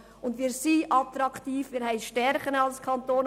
Wir sind tatsächlich attraktiv und verfügen über Stärken.